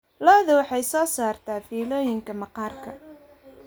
Laxdu waxay soo saartaa fiilooyinka maqaarka.